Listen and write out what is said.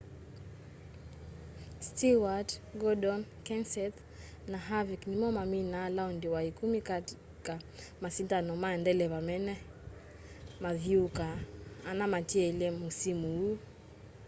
stewart gordon kenseth na harvick nimo mamina laondi wa ikumi kati ka masindano ma ndeleva mena mathyuuka ana matielye musimu uu